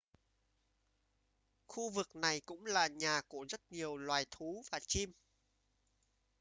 khu vực này cũng là nhà của rất nhiều loài thú và chim